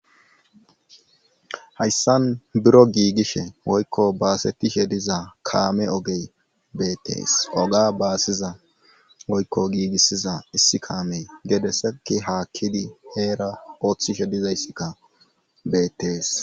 Hayssan biro giigishe woykko baasetishe dizaa kaame ogey beettees. oga baasiza woykko giigissiza issi kaamey gedesekki haakkidi heera ooththishe dizayssikka beettees.